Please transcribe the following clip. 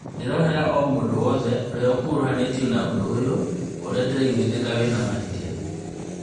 Ndĩrohera omũndũ wothe ũrĩa ũkũruhanĩtio na ũndũ ũyũ, ũrĩa nĩndaraiguĩthĩka wĩna mahĩtia